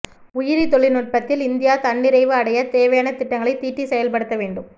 உயிரி தொழில்நுட்பத்தில் இந்தியா தன்னிறைவு அடையத் தேவையான திட்டங்களைத் தீட்டி செயல்படுத்த வேண்டும்